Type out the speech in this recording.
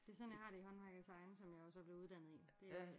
Det er sådan jeg har det i håndværk og design som jeg jo så blev uddannet i det